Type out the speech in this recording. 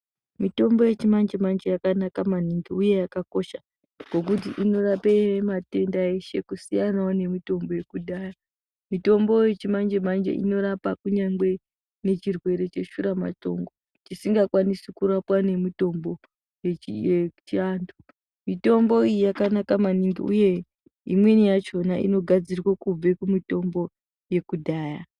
Mitombo yechimanjemanje yakanaka maningi uye yakakosha, ngekuti inorape matenda eshe kusiyanawo nemitombo yekudhaya. Mitombo yechimanjemanje inorapa kunyangwe nechirwere cheshuramatongo, chisingakwanisi kurapwa ngemutombo yechiantu. Mitombo iyi yakanaka maningi, uye imweni yachona inogadzirwe kubve kumutombo yekudhaya.